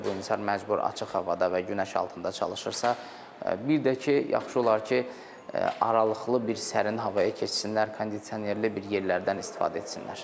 Əgər bu insan məcbur açıq havada və günəş altında çalışırsa, bir də ki, yaxşı olar ki, aralıqlı bir sərin havaya keçsinlər, kondisionerli bir yerlərdən istifadə etsinlər.